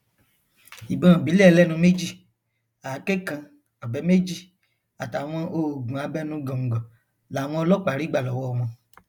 ìbọn ìbílẹ ẹlẹnu méjì àáké kan ọbẹ méjì àtàwọn oògùn abẹnugọńgọ làwọn ọlọpàá rí gbà lọwọ wọn